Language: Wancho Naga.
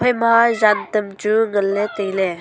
ema jantam chu nganley tailey.